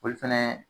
Olu fɛnɛ